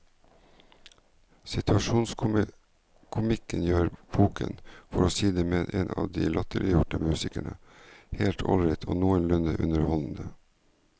Situasjonskomikken gjør boken, for å si det med en av de latterliggjorte musikerne, helt ålreit og noenlunde underholdende.